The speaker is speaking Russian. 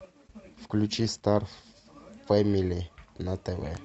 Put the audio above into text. включи стар фэмили на тв